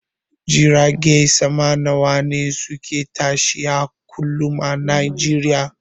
Jiragen sama nawane suke tashi a kullum a nijeriya?